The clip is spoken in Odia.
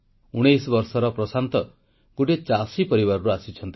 19 ବର୍ଷର ପ୍ରଶାନ୍ତ ଗୋଟିଏ ଚାଷୀ ପରିବାରରୁ ଆସିଛନ୍ତି